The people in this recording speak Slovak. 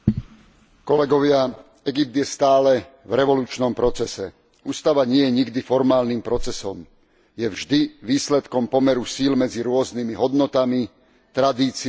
Egypt je stále v revolučnom procese. Ústava nie je nikdy formálnym procesom, je vždy výsledkom pomeru síl medzi rôznymi hodnotami, tradíciami, vyznaniami.